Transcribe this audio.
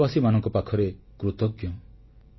ମୁଁ ଦେଶବାସୀମାନଙ୍କ ପାଖରେ କୃତଜ୍ଞ